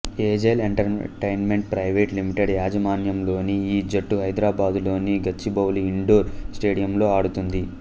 agile Entertainment Private Limited యాజమాన్యంలోని ఈ జట్టు హైదరాబాదులోని గచ్చిబౌలి ఇండోర్ స్టేడియంలో ఆడుతుంది